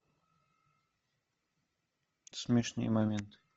смешные моменты